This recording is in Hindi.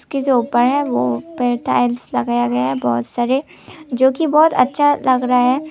के जो ऊपर है वो ऊपर टाइल्स लगाया हैं बहुत सारे जो कि बहुत अच्छा लग रहा है।